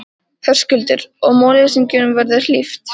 Höskuldur: Og málleysingjum verða hlíft?